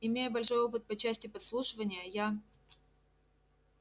имея большой опыт по части подслушивания я